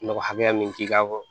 Nɔgɔ hakɛya min k'i kan